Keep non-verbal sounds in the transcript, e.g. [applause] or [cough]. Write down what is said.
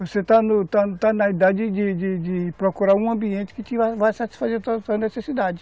Você [unintelligible] está está na idade de de de procurar um ambiente que vai satisfazer a a tua necessidade.